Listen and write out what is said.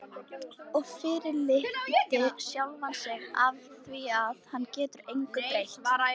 Og fyrirlíti sjálfan sig afþvíað hann getur engu breytt.